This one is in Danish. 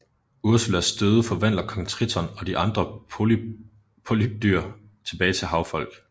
Ursulas døde forvandler kong Triton og de andre polypdyr tilbage til havfolk